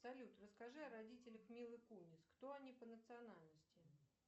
салют расскажи о родителях милы кунис кто они по национальности